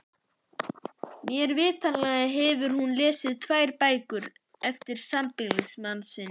Mér vitanlega hefur hún lesið tvær bækur eftir sambýlismann sinn.